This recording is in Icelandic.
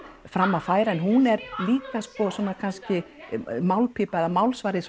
fram að færa en hún er líka sko svona kannski málpípa eða málsvari